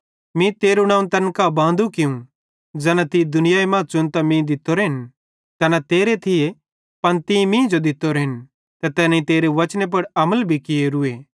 मीं तेरू नवं तैन कां बांदू कियूं ज़ैना तीं दुनियाई मरां च़ुनतां मीं दित्तोरेन तैना तेरे थिये पन तीं मींजो दित्तोरेन ते तैनेईं तेरे बचने पुड़ अमल भी कियोरूए